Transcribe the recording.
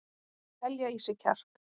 Og telja í sig kjark.